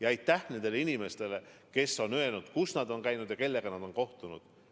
Ja aitäh ka nendele inimestele, kes on öelnud, kus nad on käinud ja kellega nad on kohtunud.